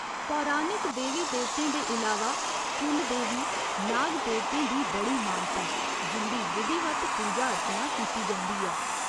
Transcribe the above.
पौराणिक देवी देवतें दे इलावा कुल देवी, नाग देवतें दी बड़ी मानता ऐ जिं'दी विधिवत पूजा अर्चना कीती जंदी ऐ।